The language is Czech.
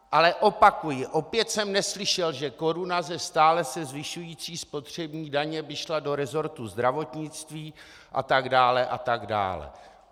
Ale opakuji, opět jsem neslyšel, že koruna ze stále se zvyšující spotřební daně by šla do resortu zdravotnictví, a tak dále, a tak dále.